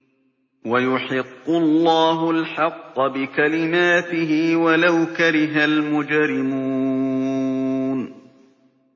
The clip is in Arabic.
وَيُحِقُّ اللَّهُ الْحَقَّ بِكَلِمَاتِهِ وَلَوْ كَرِهَ الْمُجْرِمُونَ